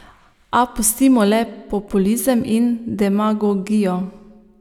A pustimo le populizem in demagogijo.